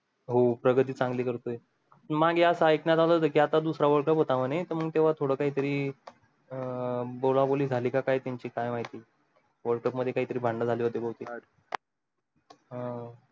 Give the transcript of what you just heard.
हो प्रगती चांगली करतोय मांगे असं ऐकण्यत आल होता की आता दुसरा world cup होता म्हणे त मंग तेव्हा थोड काही तरी अं बोला बोली जाली का काय त्यांची काय माहिती world cup मध्ये काही तरी भांडण जाली होती भवतेक